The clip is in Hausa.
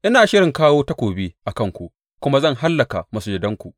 Ina shirin kawo takobi a kanku, kuma zan hallaka masujadanku.